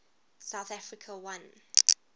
south africa won